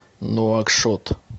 нуакшот